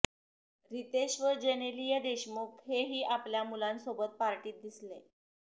रितेश व जेनेलिया देशमुख हेही आपल्या मुलांसोबत पार्टीत दिसले